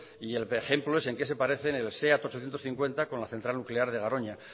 y el ejemplo es en qué se parecen el seat ochocientos cincuenta con la central nuclear de garoña